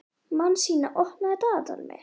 Manasína, opnaðu dagatalið mitt.